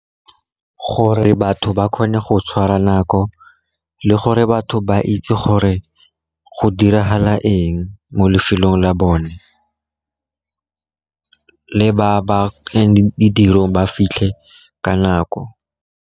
Gore batho ba kgone go tshwara nako le gore batho ba itse gore go diragala eng mo lefelong la bone, le ba ba ba fitlhe ka nako.